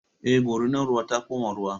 Eh, Gorinar ruwa ta koma ruwa